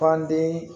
Fand